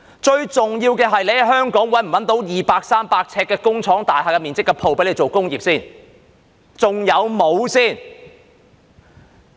最重要的是，在香港能否找到二三百呎面積的工廠大廈鋪位做工業。